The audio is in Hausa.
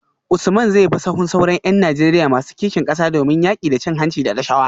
Usman zai bi sahun sauran ‘yan Najeriya masu kishin kasa domin yaki da cin hanci da rashawa?